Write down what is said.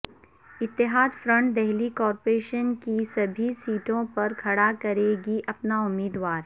اتحاد front Delhi corporation کی سبھی سیٹوں پر کھڑا کرے گی اپنا امیدوار